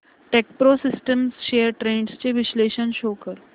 Techpro systems shares trends चे विश्लेषण show कर